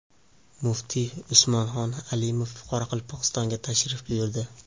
Muftiy Usmonxon Alimov Qoraqalpog‘istonga tashrif buyurdi.